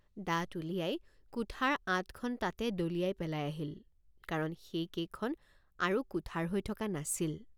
দাঁত উলিয়াই কুঠাৰ আঠখন তাতে দলিয়াই পেলাই আহিল কাৰণ সেইকেইখন আৰু কুঠাৰ হৈ থকা নাছিল।